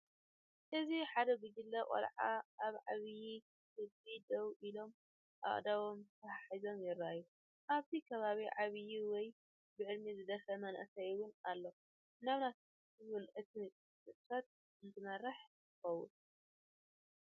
እዚ ሓደ ጕጅለ ቆልዑ ኣብ ዓብይ ክብ ደው ኢሎም ኣእዳዎም ተተሓሒዞም የርኢ። ኣብቲ ክባቢ ዓብዪ ወይ ብዕድመ ዝደፍአ መንእሰይ እውን ኣላ ምናልባት እውን ነቲ ንጥፈት እትመሪሕ ትኸውን።